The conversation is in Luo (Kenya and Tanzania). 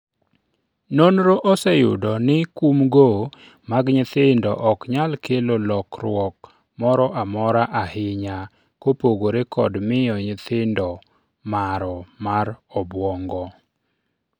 nonro oseyudo ni kumgo mag nyithindo ok nyal kelo lokruok moro amora ahinya kopogore kod miyo nyithindo maro mar obuongo